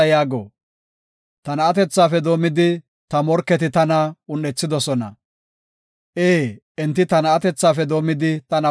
Ee, enti ta na7atethafe doomidi, tana un7ethidosona; shin enti tana xoonibookona.